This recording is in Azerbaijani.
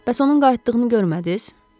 Bəs onun qayıtdığını görmədiniz?